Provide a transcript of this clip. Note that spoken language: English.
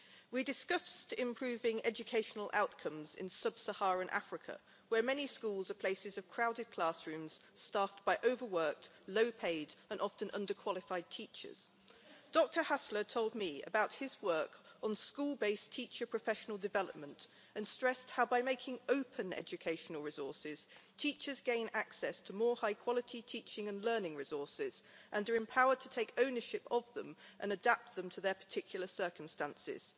We discussed improving educational outcomes in sub Saharan Africa, where many schools are places of crowded classrooms staffed by overworked, low paid and often under qualified teachers. Dr Haβler told me about his work on school based teacher professional development and stressed how, by making open educational resources, teachers gain access to more high quality teaching and learning resources and are empowered to take ownership of them and adapt them to their particular circumstances.